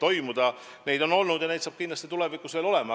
Neid arutelusid on olnud ja neid saab kindlasti tulevikus ka olema.